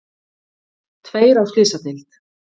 Tveir á slysadeild